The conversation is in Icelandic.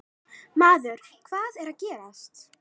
Maður, hvað er að gerast?